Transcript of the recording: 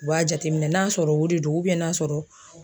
U b'a jateminɛ n'a sɔrɔ o de don n'a sɔrɔ